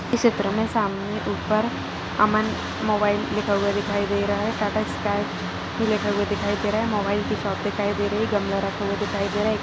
चित्र मे सामने ऊपर अमन मोबाईल लिखा हुआ दिखाई दे रहा है टाटा स्काइ भी लिखा हुआ दिखाई दे रहा है मोबाईल की शॉप दिखाई दे रही है गमला रखा हुआ दिखाई दे रहा है।